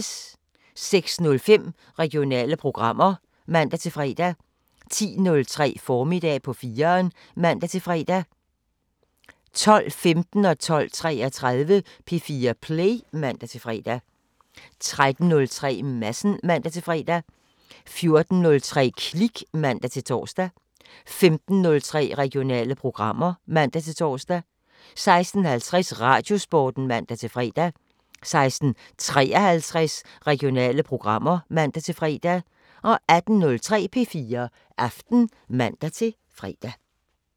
06:05: Regionale programmer (man-fre) 10:03: Formiddag på 4'eren (man-fre) 12:15: P4 Play (man-fre) 12:33: P4 Play (man-fre) 13:03: Madsen (man-fre) 14:03: Klik (man-tor) 15:03: Regionale programmer (man-tor) 16:50: Radiosporten (man-fre) 16:53: Regionale programmer (man-fre) 18:03: P4 Aften (man-fre)